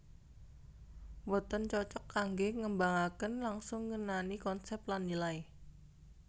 Boten cocok kanggé ngembangaken langsung ngenani konsep lan nilai